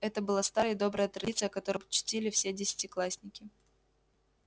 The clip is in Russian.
это была старая и добрая традиция которую чтили все десятиклассники